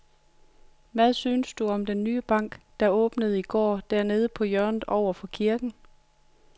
Hvad synes du om den nye bank, der åbnede i går dernede på hjørnet over for kirken?